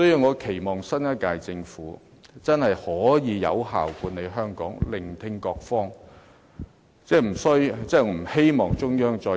我期望新一屆政府真的可以有效地管理香港，多聆聽各方意見。